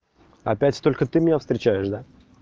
опять только ты меня встречаешь да